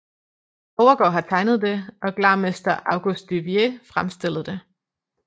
Overgaard har tegnet det og glarmester August Duvier fremstillet det